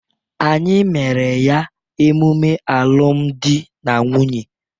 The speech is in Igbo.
Anyị mere ya emume alụmdi na nwunye.